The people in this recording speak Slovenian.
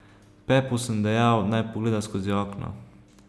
Pepu sem dejal, naj pogleda skozi okno.